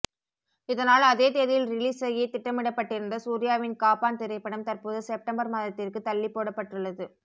இதனால் அதே தேதியில் ரிலீஸ் செய்ய திட்டமிடப்பட்டிருந்த சூர்யாவின் காப்பான் திரைப்படம் தற்போது செப்டம்பர் மாதத்திற்கு தள்ளிப்போடப்பட்டுள்ளது